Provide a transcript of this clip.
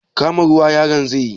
Kama ruwa yaron zai yi?